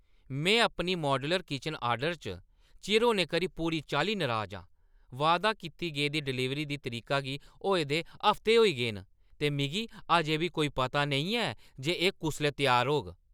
में अपनी modular kitchen order च चिर होने करी पूरी चाल्ली नराज आं। वादा कीती गेदी डलीवरी दी तरीका गी होए दे हफ्ते होई गे न, ते मिगी अजेंं बी कोई पता नेईं ऐ जे एह् कुसलै त्यार होग।